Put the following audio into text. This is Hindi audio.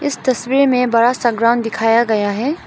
इस तस्वीर में बड़ा सा ग्राउं दिखाया गया है।